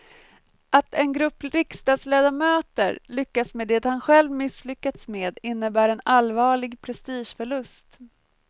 Att en grupp riksdagsledamöter lyckas med det han själv misslyckats med innebär en allvarlig prestigeförlust.